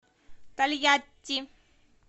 тольятти